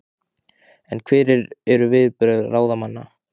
En hver eru viðbrögð ráðamanna?